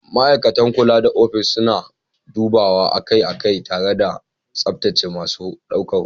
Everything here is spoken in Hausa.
Ma'aikatan kula da ofis suna dubawa akai-akai tare da tsaftace masu ɗaukar hoto.